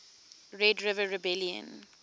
red river rebellion